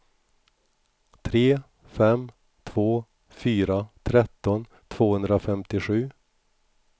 tre fem två fyra tretton tvåhundrafemtiosju